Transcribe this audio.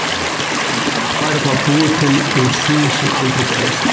Að lífið væri þá búið til úr því sem aldrei gerðist.